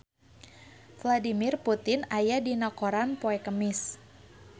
Vladimir Putin aya dina koran poe Kemis